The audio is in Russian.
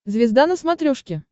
звезда на смотрешке